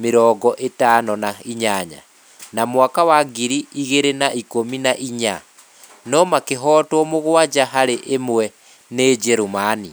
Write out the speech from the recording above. mĩrongo ĩtano na inyanya, na mwaka wa ngiri igĩrĩ na ikũmi na inya, no makĩhootwo mũgwanja harĩ ĩmwe nĩ Njĩrĩmani.